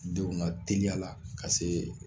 Denw ŋa teliyala ka see